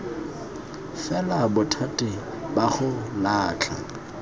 fela bothati ba go latlha